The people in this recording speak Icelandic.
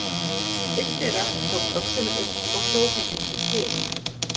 Einn þeirra tók öxina upp og hjó henni í tré.